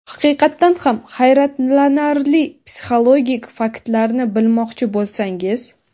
Haqiqatdan ham hayratlanarli psixologik faktlarni bilmoqchi bo‘lsangiz.